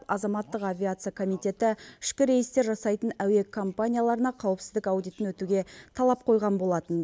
азаматтық авиация комитеті ішкі рейстер жасайтын әуе компанияларына қауіпсіздік аудитін өтуге талап қойған болатын